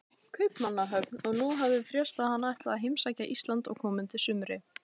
Kaupmannahöfn, og nú hafði frést að hann ætlaði að heimsækja Ísland á komandi sumri.